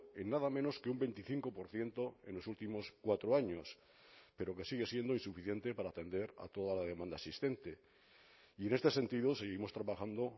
en nada menos que un veinticinco por ciento en los últimos cuatro años pero que sigue siendo insuficiente para atender a toda la demanda existente y en este sentido seguimos trabajando